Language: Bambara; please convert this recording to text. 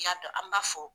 I y'a dɔn an b'a fɔ